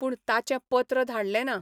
पूण ताचें पत्र धाडलें ना.